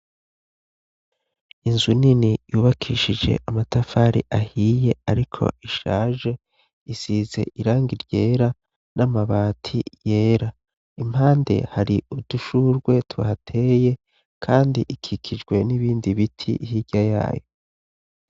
Inzu nini yubakishije amatafari ahiye ariko ishaje isize irangi ryera n'amabati yera. Impande hari udushurwe tuhateye kandi ikikijwe n'ibindi biti hirya yayo.